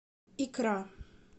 икра